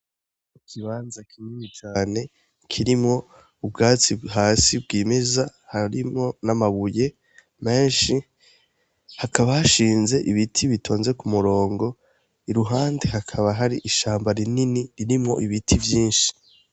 Ikibanza kinini cane kirimwo ubwatsi hasi bwimeza harimwo n'amabuye menshi, hakaba hashinze ibiti bitonze ku murongo, iruhande hakaba hari ishamba rinini ririmwo ibiti vyinshi.